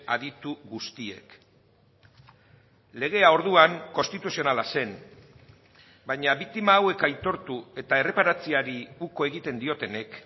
aditu guztiek legea orduan konstituzionala zen baina biktima hauek aitortu eta erreparatzeari uko egiten diotenek